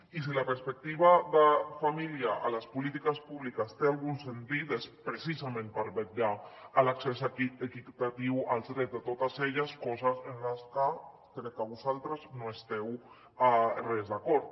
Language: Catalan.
i si la perspectiva de família a les polítiques públiques té algun sentit és precisament per vetllar per l’accés equitatiu als drets de totes elles cosa amb la que crec que vosaltres no esteu gens d’acord